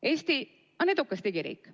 Eesti on edukas digiriik.